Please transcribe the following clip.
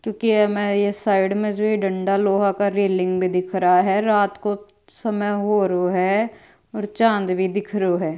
क्योकि ये में साइड में जो डंडा लोहा का रेलिंग भी दिख रहा है रात को समय होरो है और चाँद भी दिख रियो है।